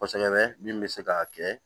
Kosɛbɛ min bɛ se k'a kɛ